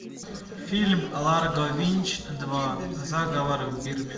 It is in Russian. фильм ларго винч два заговор в бирме